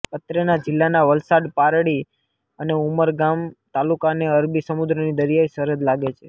અત્રેના જિલ્લાના વલસાડ પારડી અને ઉમરગામ તાલુકાને અરબી સમુદ્રની દરિયાઈ સરહદ લાગે છે